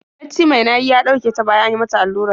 Bacci mai nayi ya ɗauke ta bayan an yi mata allurar.